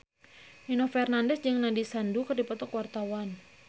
Nino Fernandez jeung Nandish Sandhu keur dipoto ku wartawan